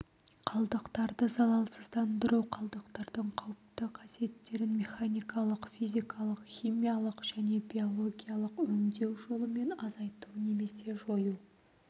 қалдықтарды залалсыздандыру қалдықтардың қауіпті қасиеттерін механикалық физикалық-химиялық және биологиялық өңдеу жолымен азайту немесе жою